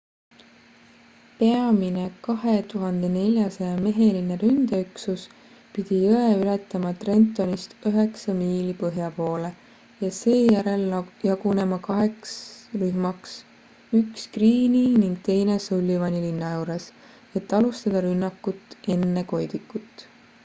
peamine 2400-meheline ründeüksus pidi jõe ületama trentonist üheksa miili põhja poole ja seejärel jagunema kaheks rühmaks üks greene'i ning teine sullivani linna juures et alustada rünnakut enne koidikut